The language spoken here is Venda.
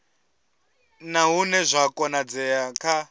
na hune zwa konadzea kha